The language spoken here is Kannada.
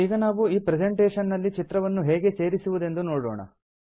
ಈಗ ನಾವು ಈ ಪ್ರೆಸೆಂಟೇಷನ್ ನಲ್ಲಿ ಚಿತ್ರವನ್ನು ಹೇಗೆ ಸೇರಿಸುವುದೆಂದು ನೋಡೋಣ